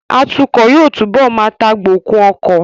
Atukọ̀ yóò túbọ̀ má tagbokun ọkọ